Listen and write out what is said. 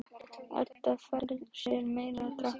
Edda fær sér meira að drekka.